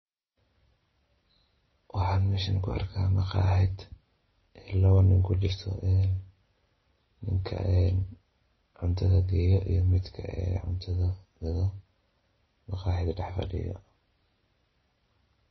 Waxaan meeshan ku arkaa maqaaxid laba nin ku jirto; midka cuntada geeyo iyo midka cuntada gado. Maqaaxid dheh fidhiyo.